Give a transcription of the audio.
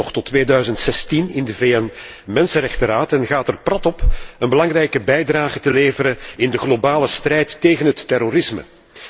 Het zetelt nog tot 2016 in de VN Mensenrechtenraad en gaat er prat op een belangrijke bijdrage te leveren in de globale strijd tegen het terrorisme.